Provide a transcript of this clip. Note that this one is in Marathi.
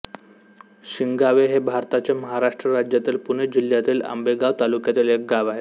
शिंगावे हे भारताच्या महाराष्ट्र राज्यातील पुणे जिल्ह्यातील आंबेगाव तालुक्यातील एक गाव आहे